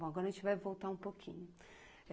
Bom, agora a gente vai voltar um pouquinho.